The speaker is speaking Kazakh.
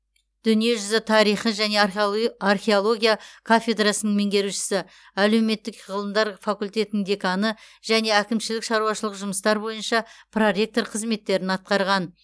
дүниежүзі тарихы және археология кафедрасының меңгерушісі әлеуметтік ғылымдар факультетінің деканы және әкімшілік шаруашылық жұмыстар бойынша проректор қызметтерін атқарған